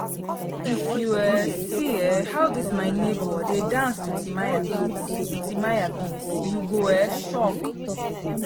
if you um see um how dis my nebor dey dance to timaya beats to timaya beats you go um shock